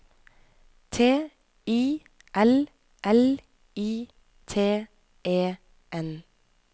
T I L L I T E N